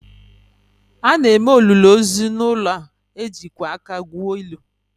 A na-eme olili ozu n’ụlọ, e jikwa aka gwuo ili